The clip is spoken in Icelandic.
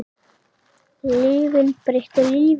Lyfin breyttu lífi mínu.